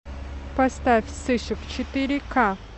поставь сыщик четыре ка